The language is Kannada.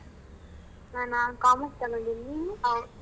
ನಾನಾ commerce ತೊಗೊಂಡಿನಿ ನೀನು?